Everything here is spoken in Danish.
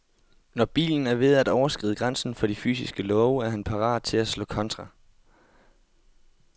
Når bilen er ved at overskride grænsen for de fysiske love, er han parat til at slå kontra.